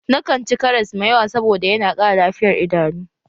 Na kanci karas mai yawa saboda yana ƙara lafiyar idanu.